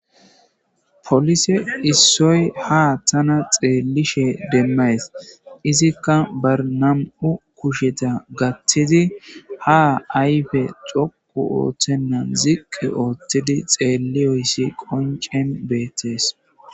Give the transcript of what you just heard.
Polise issoy ha tana xelishin demayis itika ba na'u kusheta gathidi ha ayipe dhoqo othena ziqi othidi xeloyis qonicen betes